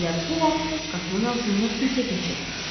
Elə bu vaxt qapının ağzından kimsə keçir.